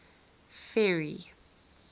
ferry